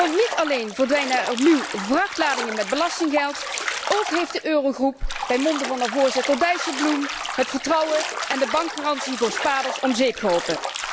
Want niet alleen verdwijnen er opnieuw vrachtladingen met belastinggeld, ook heeft de Eurogroep bij monde van haar voorzitter Dijsselbloem het vertrouwen en de bankgarantie voor spaarders om zeep geholpen.